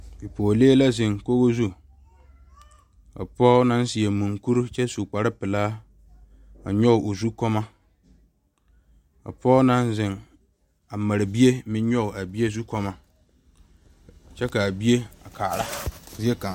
Bipɔgelee la zeŋ kogi zu, ka pɔge naŋ seɛ munkuri kyɛ su kpare pelaa a nyɔge o zu kɔɔloŋ ka pɔge naŋ zeŋ a mare bie a meŋ nyɔge a bie zukɔɔloŋ kyɛ kaa bie a kaara zie kaŋa